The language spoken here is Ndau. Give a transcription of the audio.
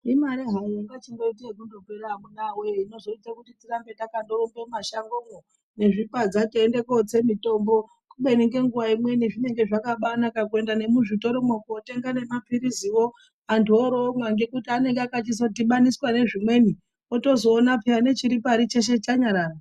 lmare hayo inotamika inoita kuti tirambe teirumba mumashango nezvipadza kotsa mitombo asi zvinenge zvakaba naka kuenda nemun zvitoromo kotenga nemapirizi anthu oromwa ngekuti anenge akaba dhibaniswa nezvimweni otozoona necheshe chiripainyi chanyarara.